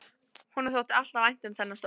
Honum þótti alltaf vænt um þennan stól.